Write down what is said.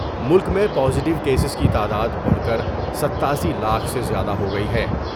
ملک میں پازیٹوکیسز کی تعداد بڑھ کر ستاسی لاکھ سے زیادہ ہوگئی ہے ۔